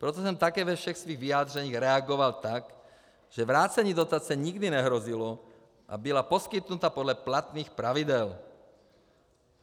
Proto jsem také ve všech svých vyjádřeních reagoval tak, že vrácení dotace nikdy nehrozilo a byla poskytnuta podle platných pravidel.